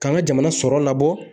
K'an ka jamana sɔrɔ labɔ